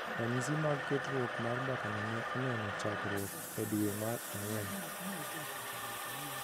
Ranyisi mag ketruok mar mbakano ne oneno chakruok e dwe mar ang’wen